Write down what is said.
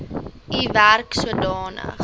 u werk sodanig